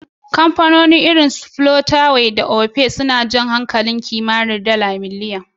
Kamfanoni irin su Flutterwave da Opay sun ja hankalin kimar dala biliyan,